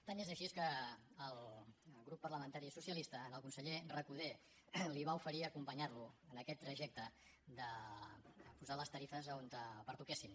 tant és així que el grup parlamentari socialista al conseller recoder li va oferir acompanyar lo en aquest trajecte de posar les tarifes on pertoquessin